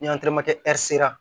Ni sera